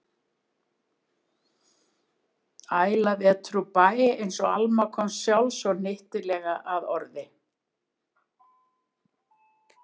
Æla vetur úr bæ, einsog Alma komst sjálf svo hnyttilega að orði.